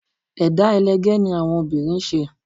Ẹ̀dá ẹlẹgẹ́ ni àwọn obìnrin ń ṣe